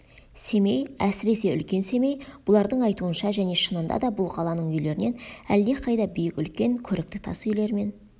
семей әсіресе үлкен семей бұлардың айтуынша және шынында да бұл қаланың үйлерінен әлдеқайда биік үлкен көрікті тас үйлермен